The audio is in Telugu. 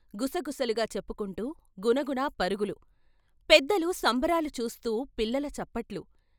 " గుసగుసలుగా చెప్పుకుంటూ గునగున పరుగులు పెద్దలు సంబరాలు చూస్తూ పిల్లల చప్పట్లు.